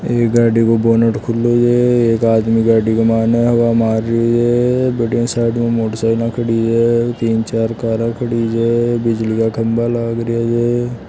ऐ गाडी को बोनेट खुले है एक आदमी गाड़ी के मायने हवा माररियो है बठीन साइड में मोटर साइकिल खड़ी है तीन चार कारां खड़ी है बिजली का खम्भा लाग रे है।